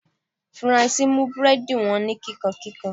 Faranse mú búrẹ́dì wọn ní kíkankíkan.